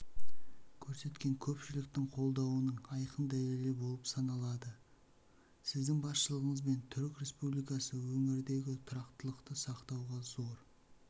көрсеткен көпшіліктің қолдауының айқын дәлелі болып саналады сіздің басшылығыңызбен түрік республикасы өңірдегі тұрақтылықты сақтауға зор